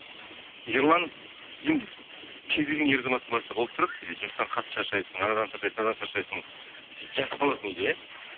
ерлан енді кез келген ер азаматтың басында болып тұрады жұмыстан қатты шаршайсың анадан шаршайсың мынадан шаршайсың сөйтіп жатып қаласың үйде иә